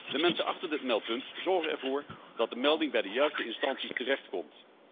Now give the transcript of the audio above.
De mensen achter dit meldpunt zorgen ervoor dat de melding bij de juiste instantie terechtkomt.